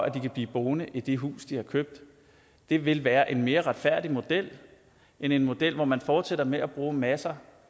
at de kan blive boende i det hus de har købt det vil være en mere retfærdig model end en model hvor man fortsætter med at bruge masser